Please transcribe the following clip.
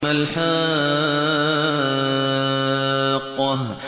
مَا الْحَاقَّةُ